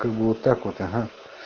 как бы вот так вот ага